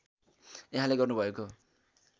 यहाँले गर्नुभएको